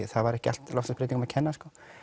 það var ekki allt loftslagsbreytingum að kenna